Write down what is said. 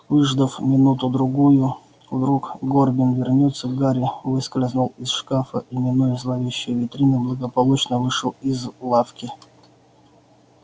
выждав минуту-другую вдруг горбин вернётся гарри выскользнул из шкафа и минуя зловещие витрины благополучно вышел из лавки